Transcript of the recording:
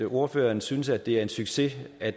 ordføreren synes at det er en succes at